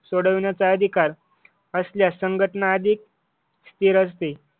सोडवण्याचा अधिकार असल्यास संघटना अधिक स्थिर असते.